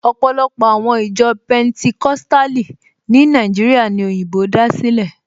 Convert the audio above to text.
Ọ̀pọ̀lọpọ̀ àwọn ìjọ Pẹntikóstàlì ní Nàìjíríà ní òyìnbó dá sílẹ̀